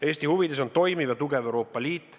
Eesti huvides on toimiv ja tugev Euroopa Liit.